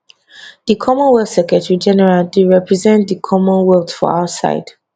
di commonwealth secretarygeneral dey represent di commonwealth for outside